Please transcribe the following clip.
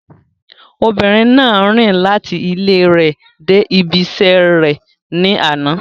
Obìnrin náà rìn láti ilẹ rẹ̀ dé ibí iṣẹ́ rẹ̀ ní àná.